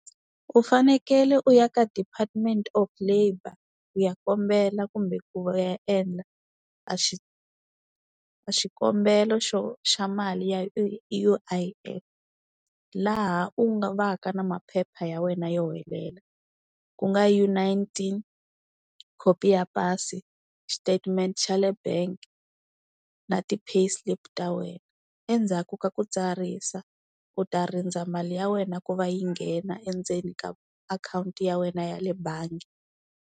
U fanekele u ya ka Department of Labour u ya kombela kumbe ku ya endla a a xikombelo xo, xa mali ya U_I_F laha u nga va ka na maphepha ya wena yo helela, ku nga U nineteen, khopi ya pasi, statement xa le bank na ti-pay slip ta wena. Endzhaku ka ku tsarisa u ta rindza mali ya wena ku va yi nghena endzeni ka akhawunti ya wena ya le bangi.